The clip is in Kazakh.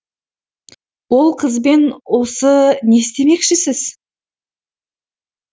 ол қызбен осы не істемекшісіз